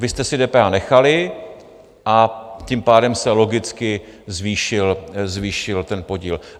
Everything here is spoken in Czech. Vy jste si DPH nechali, a tím pádem se logicky zvýšil ten podíl.